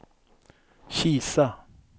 Kisa